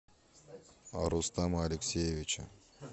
рустама алексеевича